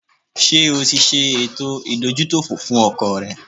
Ṣé o ṣe ètò ìdójútòfò fún ọkọ̀ rẹ?